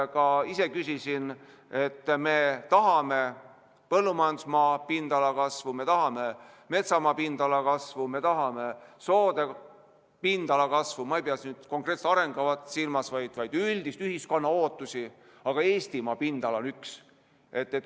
Ma ka ise küsisin, et me tahame põllumajandusmaa pindala kasvu, me tahame metsamaa pindala kasvu, me tahame soode pindala kasvu – ma ei pea nüüd konkreetselt arengukavasid silmas, vaid üldisi ühiskonna ootusi –, aga Eestimaa pindala on üks.